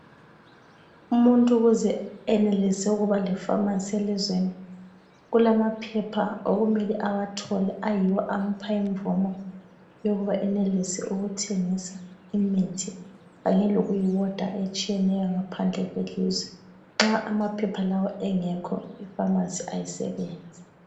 Umuntu ukuze enelise ukuba lepharmacy elizweni kulamaphepha okumele awathole ayiwo amupha imvumo yokuba enelise ukuthengisa imithi kanye lokuyiwoda etshiyeneyo ngaphandle kwelizwe. Nxa amaphepha lawa engekhi ipharmacy ayisebenzi.